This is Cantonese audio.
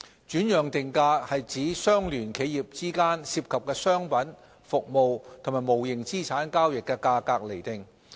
轉讓定價指相聯企業之間涉及商品、服務及無形資產交易的價格釐定。